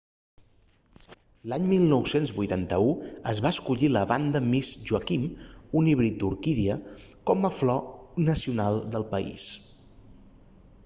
l'any 1981 es va escollir la vanda miss joaquim un híbrid d'orquídia com a flor nacional del país